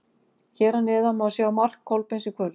Hér að neðan má sjá mark Kolbeins í kvöld.